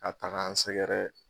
K'a ta k'an sɛgɛrɛ